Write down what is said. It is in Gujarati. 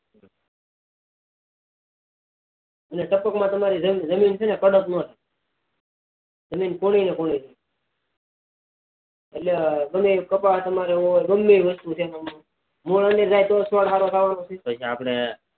એટલે ટપક માં તો તમાર જમીન કડક ન થાય જમીન કોરી ન કોરી રે એટલે ગમેતે તમાર કપા હોય ગમેતે મૂળ માં જાય તો જ છોડ સારું થાય ને